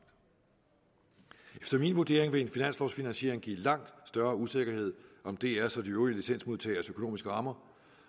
efter min vurdering vil en finanslovfinansiering give langt større usikkerhed om drs og de øvrige licensmodtageres økonomiske rammer